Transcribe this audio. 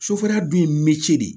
Sofɛriya dun ye miirici de ye